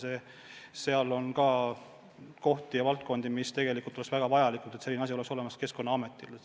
Samas seal on ka kohti, mille puhul tegelikult oleks väga vaja, et need oleks Keskkonnaametil olemas.